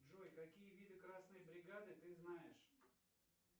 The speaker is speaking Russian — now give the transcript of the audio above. джой какие виды красной бригады ты знаешь